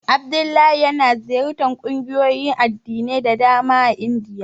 Abdullahi yana ziyartar ƙungiyoyin addinai da dama a Indiya.